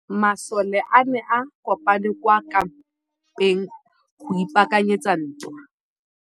Masole a ne a kopane kwa kampeng go ipaakanyetsa ntwa.